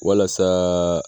Walasa